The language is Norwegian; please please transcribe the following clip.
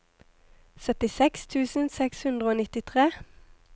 syttiseks tusen seks hundre og nittitre